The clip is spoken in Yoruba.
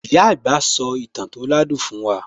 Ìyá àgbà sò ìtàn tó ládùn fún wa